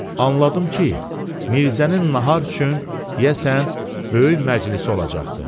Anladım ki, Mirzənin nahar üçün, deyəsən, böyük məclisi olacaqdı.